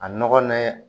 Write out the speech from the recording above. A nɔgɔ ni